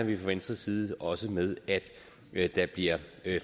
vi fra venstres side også med at der bliver